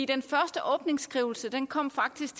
den første åbningsskrivelse kom faktisk